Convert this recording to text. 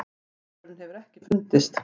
Maðurinn hefur ekki fundist.